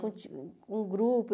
Com o o grupo.